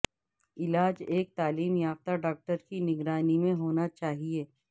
علاج ایک تعلیم یافتہ ڈاکٹر کی نگرانی میں ہونا چاہئے